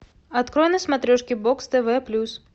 открой на смотрешке бокс тв плюс